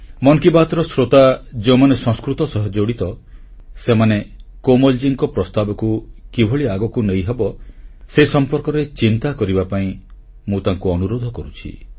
ମନ୍ କି ବାତ୍ର ଶ୍ରୋତା ଯେଉଁମାନେ ସଂସ୍କୃତ ସହ ଜଡ଼ିତ ସେମାନେ କୋମଲଜୀଙ୍କ ପ୍ରସ୍ତାବକୁ କିଭଳି ଆଗକୁ ନେଇହେବ ସେ ସମ୍ପର୍କରେ ଚିନ୍ତା କରିବା ପାଇଁ ମୁଁ ତାଙ୍କୁ ଅନୁରୋଧ କରୁଛି